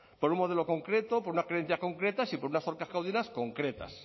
por un modelo concreto por unas creencias concretas y por unas concretas